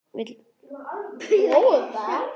Vill Frank segja sögu sína eða vill hann græða pening?